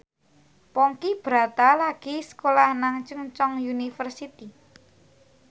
Ponky Brata lagi sekolah nang Chungceong University